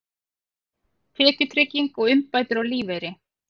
Tekjutrygging og uppbætur á lífeyri.